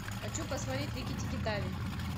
хочу посмотреть рикки тикки тави